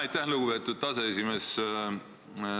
Aitäh, lugupeetud aseesimees!